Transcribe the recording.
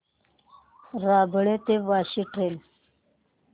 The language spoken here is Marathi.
रबाळे ते वाशी ट्रेन